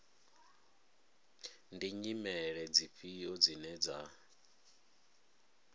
ndi nyimele dzifhio dzine dza